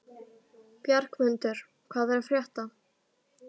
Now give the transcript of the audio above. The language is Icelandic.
Bjargmundur, hvað er að frétta?